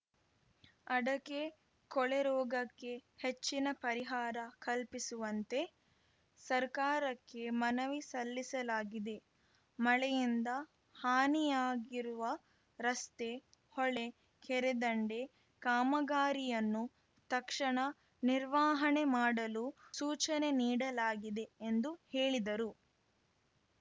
ಅಡಕೆ ಕೊಳೆರೋಗಕ್ಕೆ ಹೆಚ್ಚಿನ ಪರಿಹಾರ ಕಲ್ಪಿಸುವಂತೆ ಸರ್ಕಾರಕ್ಕೆ ಮನವಿ ಸಲ್ಲಿಸಲಾಗಿದೆ ಮಳೆಯಿಂದ ಹಾನಿಯಾಗಿರುವ ರಸ್ತೆ ಹೊಳೆ ಕೆರೆದಂಡೆ ಕಾಮಗಾರಿಯನ್ನು ತಕ್ಷಣ ನಿರ್ವಹಣೆ ಮಾಡಲು ಸೂಚನೆ ನೀಡಲಾಗಿದೆ ಎಂದು ಹೇಳಿದರು